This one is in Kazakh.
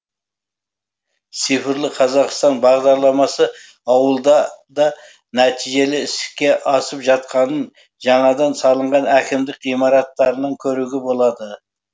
цифрлы қазақстан бағдарламасы ауылда да нәтижелі іске асып жатқанын жаңадан салынған әкімдік ғимараттарының көруге болады